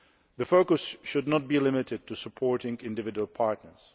The focus should not be limited to supporting individual partners.